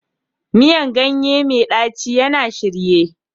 Miyan ganye mai ɗaci yana shirye